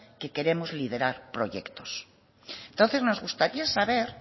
que queremos liderar proyectos entonces nos gustaría saber